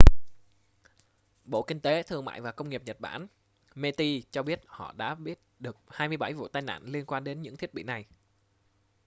bộ kinh tế thương mại và công nghiệp nhật bản meti cho biết họ đã biết được 27 vụ tai nạn liên quan đến những thiết bị này